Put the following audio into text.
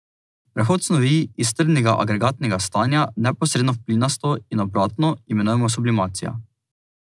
Prehod snovi iz trdnega agregatnega stanja neposredno v plinasto in obratno imenujemo sublimacija.